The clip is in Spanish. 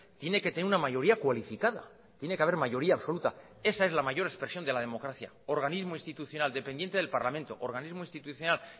tiene que tener una mayoría cualificada tiene que haber mayoría absoluta esa es la mayor expresión de la democracia organismo institucional dependiente del parlamento organismo institucional